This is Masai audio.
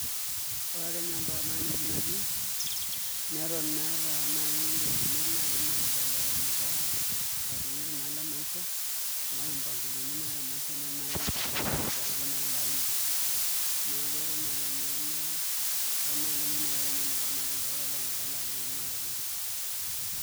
Ore ake ninye mpaka tanakata enewueji natii neton meeta naai ngolikinot naai naibelekenyita atumito inaalo emaisha amu mpangilioni naata emaisha neton naai agira aitasheyie ilo aini, neeku eton ake ninye mee meeta engolikinoto naagira aitayu tolaini apa laa ninye nanu aata te enkishui.